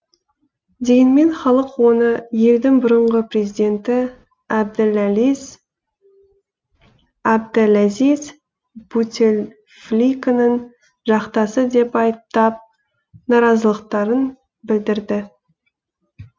дегенмен халық оны елдің бұрыңғы президенті әбділәзиз бутефликаның жақтасы деп айыптап наразылықтарын білдірді